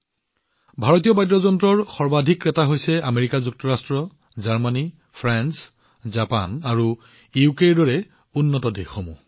ভাৰতীয় বাদ্যযন্ত্ৰৰ আটাইতকৈ ডাঙৰ ক্ৰেতা হৈছে আমেৰিকা যুক্তৰাজ্য জাৰ্মানী ফ্ৰাঞ্চ জাপান আৰু ইউকেৰ দৰে উন্নত দেশসমূহ